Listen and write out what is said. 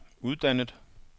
uddannet